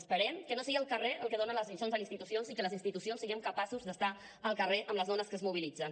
esperem que no sigui el carrer el que dona les lliçons a les institucions i que les institucions siguem capaces d’estar al carrer amb les dones que es mobilitzen